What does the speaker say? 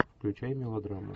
включай мелодраму